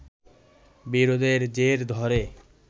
বিরোধের জের ধরে